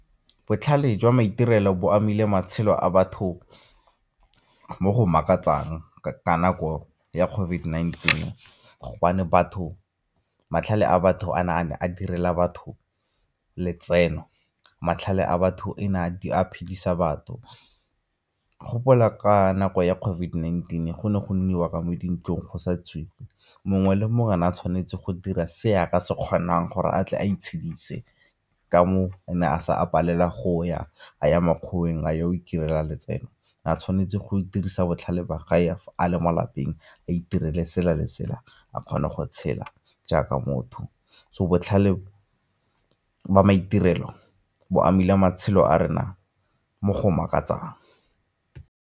Botlhale jwa maitirelo bo amile matshelo a batho mo go makatsang ka nako ya COVID-19 gobane batho, matlhale a batho a ne a ne a direla batho letseno, matlhale a batho e na a phedisa batho. Gopola ka nako ya COVID-19 go ne go nniwa ka mo dintlong go sa tswiwe mongwe le mongwe o ne a tshwanetse go dira se a ka se kgonang gore a tle a itshedise ka moo o ne a palela go ya a ya makgoweng a yo go itirela letseno a tshwanetse go dirisa botlhale ba ga a le mo lapeng a itirele sela le sela a kgone go tshela jaaka motho. So botlhale jwa maitirelo bo amile matshelo a rena mo go makatsang.